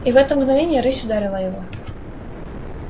и в это мгновение рысь ударила его